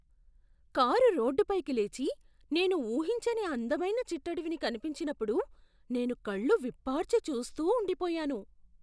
Car రోడ్డుపైకి లేచి, నేను ఊహించని అందమైన చిట్టడవిని కనిపించినప్పుడు నేను కళ్ళు విప్పార్చి చూస్తూ ఉండిపోయాను.